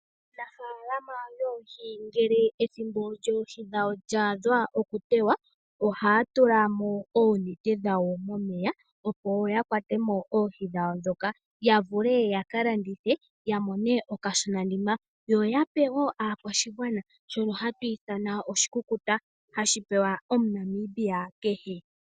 Aanafaalama yoohi ngele oohi dhawo dhaadha okutewa ohaya tulamo oonete dhawo momeya opo yakwatemo oohi dhawo dhonka yavule yakalandithe yamone okashona nima yo yape wonaakwashigwana shono hatu itha oshikukuta hashi pewa omuNamibia kehe.